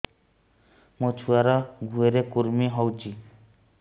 ମୋ ଛୁଆର୍ ଗୁହରେ କୁର୍ମି ହଉଚି